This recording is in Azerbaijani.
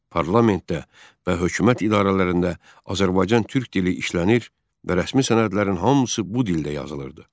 Parlamentdə və hökumət idarələrində Azərbaycan türk dili işlənir və rəsmi sənədlərin hamısı bu dildə yazılırdı.